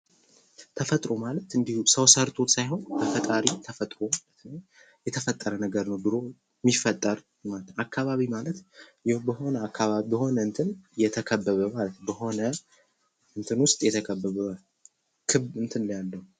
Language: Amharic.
ተፈጥሮ ማለት እንዲሁም ሰው ሰርቶ ሳይሆን በፈጣሪ ተፈጥሮ ማለት ነው። የተፈጠረ ነገር የሚፈጠር አካባቢ ማለት ብሆነ እንትን የተከበበ ማለት በሆነ እንትን ውስጥ የተከበበ ክብ ያለው።